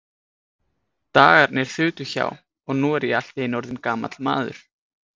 Dagarnir þutu hjá, og nú er ég allt í einu orðinn gamall maður.